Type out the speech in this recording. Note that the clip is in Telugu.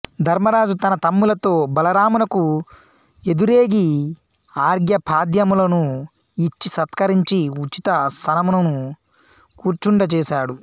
ధర్మరాజు తన తమ్ములతో బలరామునకు ఎదురేగి అర్ఘ్యపాద్యములను ఇచ్చి సత్కరించి ఉచితాసనమున కూర్చుండ చేసాడు